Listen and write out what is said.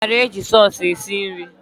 Onye mara eji sọs esi nri?